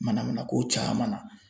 Manamana ko caman na